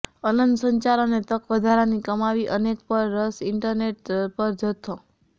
અનંત સંચાર અને તક વધારાની કમાવી અનેક રસ ઇન્ટરનેટ પર જથ્થો